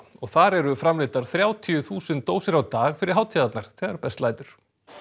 þar eru framleiddar þrjátíu þúsund dósir á dag fyrir hátíðirnar þegar best lætur